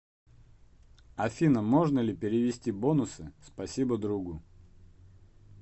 афина можно ли перевести бонусы спасибо другу